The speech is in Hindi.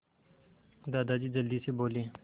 दादाजी जल्दी से बोले